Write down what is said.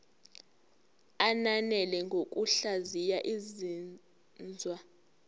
ananele ngokuhlaziya izinzwa